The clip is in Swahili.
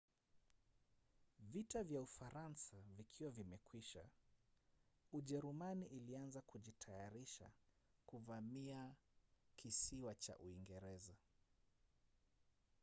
vita kwa ufaransa vikiwa vimekwisha ujerumani ilianza kujitayarisha kuvamia kisiwa cha uingereza